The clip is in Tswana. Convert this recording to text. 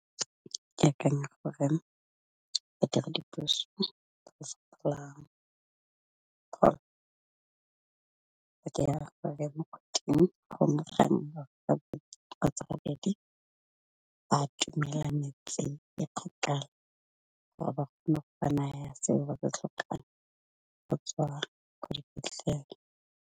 Ke akanya gore, e ka re dipuso tsa mo kgweding go nne ga nngwe kgotsa ga bedi ba a tomele metseng e gakala gore ba kgone go ba naya seo ba ba se tlhokang go tswa ko dipetlele.